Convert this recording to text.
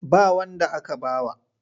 Ba wanda aka ba wa.